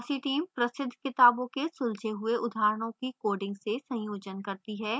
fossee team प्रसिद्ध किताबों के सुलझे हुए उदाहरणों की coding से संयोजन करती है